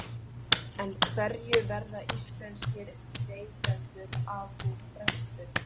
En hverju verða íslenskir neytendur af við frestun?